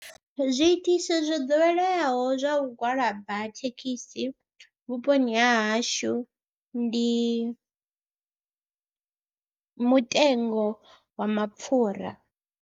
Zwiitisi zwo ḓoweleaho zwa u gwalaba thekhisi vhuponi ha hashu ndi mutengo wa mapfhura.